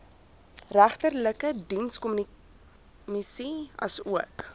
regterlike dienskommissie asook